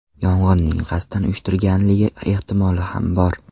Yong‘inning qasddan uyushtirganligi ehtimoli ham bor.